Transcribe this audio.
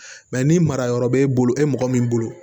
Mɛ ni mara yɔrɔ b'e bolo e mɔgɔ min bolo